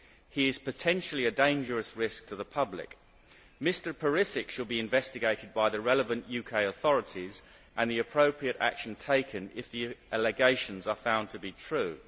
He is potentially a dangerous risk to the public. Mr Perisic should be investigated by the relevant UK authorities and the appropriate action taken if the allegations are found to be true.